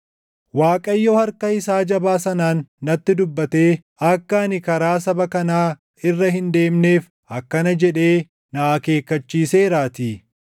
Waaqayyo harka isaa jabaa sanaan natti dubbatee akka ani karaa saba kanaa irra hin deemneef akkana jedhee na akeekkachiiseeraatii: